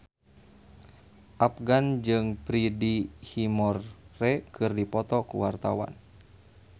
Afgan jeung Freddie Highmore keur dipoto ku wartawan